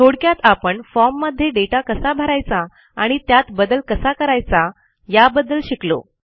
थोडक्यात आपण formमध्ये दाता कसा भरायचा आणि त्यात बदल कसा करायचा याबद्दल शिकलो